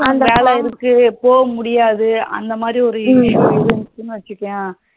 வேல இருக்கு போக முடியாது அந்த மாரி ஒரு வச்சிகோயே